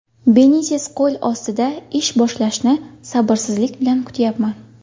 Benites qo‘l ostida ish boshlashni sabrsizlik bilan kutyapman.